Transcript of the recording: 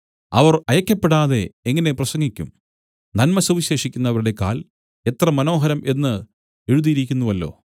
അവർ അയയ്ക്കപ്പെടാതെ എങ്ങനെ പ്രസംഗിക്കും നന്മ സുവിശേഷിക്കുന്നവരുടെ കാൽ എത്ര മനോഹരം എന്നു എഴുതിയിരിക്കുന്നുവല്ലോ